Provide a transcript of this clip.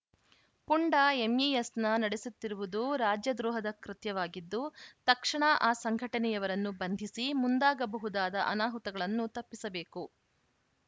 ಪುಂಡ ಎಂಇಎಸ್‌ನ ನಡೆಸುತ್ತಿರುವುದು ರಾಜ್ಯದ್ರೋಹದ ಕೃತ್ಯವಾಗಿದ್ದು ತಕ್ಷಣ ಆ ಸಂಘಟನೆಯವರನ್ನು ಬಂಧಿಸಿ ಮುಂದಾಗಬಹುದಾದ ಅನಾಹುತಗಳನ್ನು ತಪ್ಪಿಸಬೇಕು